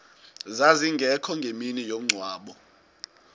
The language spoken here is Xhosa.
zazingekho ngemini yomngcwabo